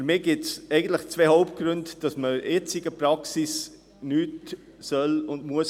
Für mich gibt es eigentlich zwei Hauptgründe, weshalb man die jetzige Praxis nicht ändern soll und muss.